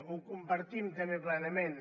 ho compartim també plenament